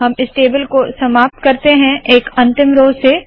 हम इस टेबल को समाप्त करते है एक अंतिम रोव से